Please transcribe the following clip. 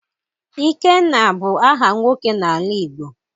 Ikenna bụ aha nwoke n'ala Igbo.